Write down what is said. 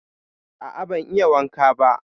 A a ban yi wanka ba.